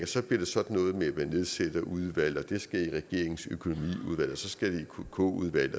så bliver sådan noget med at man nedsætter udvalg og det skal i regeringens økonomiudvalg og så skal det i kk udvalg